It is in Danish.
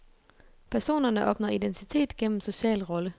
Personerne opnår identitet gennem social rolle.